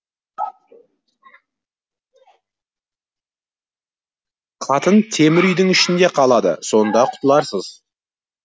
қатын темір үйдің ішінде қалады сонда құтыларсыз